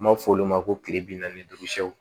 N b'a fɔ olu ma ko kile bi naani ni duuru sɛw